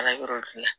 Ala yɔrɔ gilan